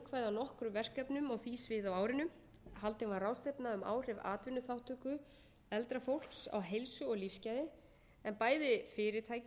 nokkrum verkefnum á því sviði á árinu haldin var ráðstefna um áhrif atvinnuþátttöku eldra fólks á heilsu og lífsgæði en bæði fyrirtæki og samfélagið allt geta haft margvíslegan hag af því að